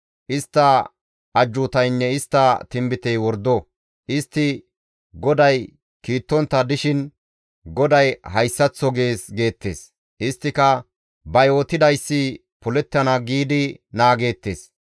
Istta ajjuutaynne istta tinbitey wordo. Istti GODAY kiittontta dishin GODAY hayssaththo gees› geettes. Isttika ba yootidayssi polettana giidi naageettes.